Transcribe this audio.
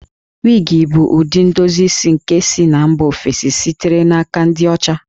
Wig bụ ụdị ndozi isi nke si na mba ofesi sitere n'aka ndị ọcha